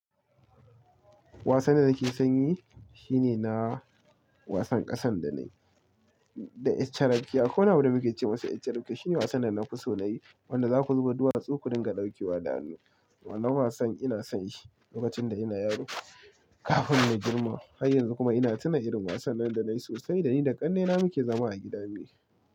Wasan da nake son yi shi ne na wasan ƙasan da na, da yaaccarfke Ko na buɗe muke ce masa yaccarafke Shi ne wasan da na fi so na yi, wanda za ku zuba duwatsu ku dinga ɗauke wa da hannu. Wannan wasan ina son yi lokacin da ina yaro kafin na girma. Har yanzu kuma ina tuna irin wasan nan da na yi sosai da ni da ƙannena muke zama a gida mu.